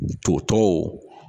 To tɔw